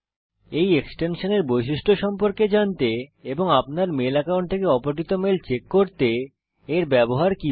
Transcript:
এই এক্সটেনশানের বৈশিষ্ট্য সম্পর্কে জানুন এবং আপনার মেইল অ্যাকাউন্ট থেকে অপঠিত মেইল চেক করতে এর ব্যবহার কিভাবে করে